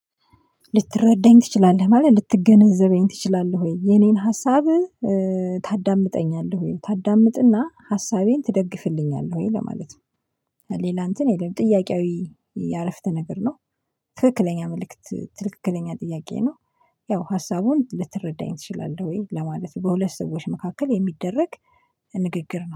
ልትረዳኝ ትችላለህ ማለት ልትገነዘበኝ ትችላለህ ወይ የኔን ሀሳብ ታዳምጠኛለህ ወይ ታዳምጥና ሀሳቤን ትደግፍልኛለህ ወይ ለማለት ነው ሌላ እንትን የለም ጥያቄያዊ የአረፍተ ነገር ነው ትክክለኛ መልእክት ትክክለኛ ጥያቄ ነው ያው ሀሳቡን ልትረዳኝ ትችላለህ ወይ ለማለት በሁለት ሰዎች መካከል የሚደረግ ንግግር ነው